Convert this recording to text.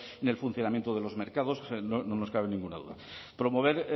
en el funcionamiento de los mercados no nos cabe ninguna duda promover